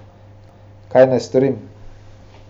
Kaj naj storim?